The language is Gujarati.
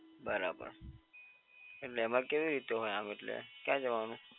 બરાબર એટલે એમાં કેવી રીતે હોય આમ એટલે ક્યા જવાનું?